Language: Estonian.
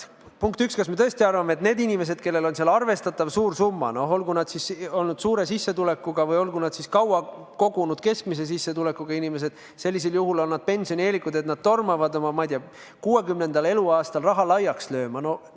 Punkt üks: kas me tõesti arvame, et need inimesed, kellel on seal arvestatavalt suur summa, olgu nad suure sissetulekuga või olgu nad kaua kogunud keskmise sissetulekuga inimesed, kes on seega pensionieelikud, tormavad oma, ma ei tea, 60. eluaastal raha laiaks lööma?